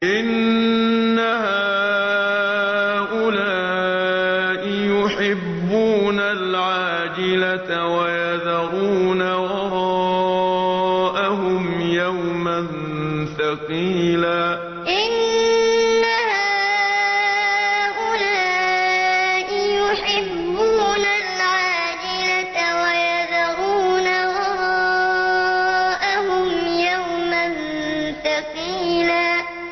إِنَّ هَٰؤُلَاءِ يُحِبُّونَ الْعَاجِلَةَ وَيَذَرُونَ وَرَاءَهُمْ يَوْمًا ثَقِيلًا إِنَّ هَٰؤُلَاءِ يُحِبُّونَ الْعَاجِلَةَ وَيَذَرُونَ وَرَاءَهُمْ يَوْمًا ثَقِيلًا